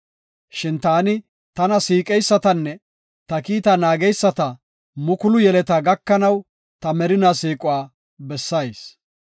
Shin taani tana siiqeysatanne ta kiita naageysata mukulu yeletaa gakanaw ta merinaa siiquwa bessayis.